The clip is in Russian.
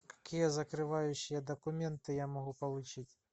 какие закрывающие документы я могу получить